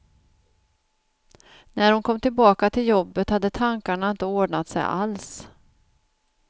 När hon kom tillbaka till jobbet hade tankarna inte ordnat sig alls.